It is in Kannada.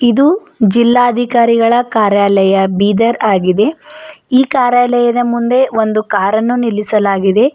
ಇದು ಜಿಲ್ಲಾಧಿಕಾರಿಗಳ ಕಾರ್ಯಾಲಯ ಬೀದರ್ ಆಗಿದೆ ಈ ಕಾರ್ಯಾಲಯದ ಮುಂದೆ ಒಂದು ಕಾರನ್ನು ನಿಲ್ಲಿಸಲಾಗಿದೆ.